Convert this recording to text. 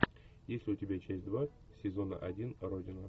есть ли у тебя часть два сезона один родина